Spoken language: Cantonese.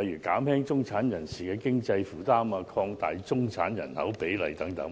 例如"減輕中產人士經濟負擔"、"擴大中產人口比例"等。